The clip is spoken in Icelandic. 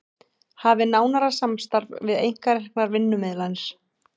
Hafi nánara samstarf við einkareknar vinnumiðlanir